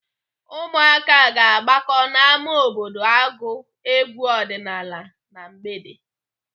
Ụmụaka ga-agbakọ n'ámá obodo agụ egwu ọdịnaala na mgbede.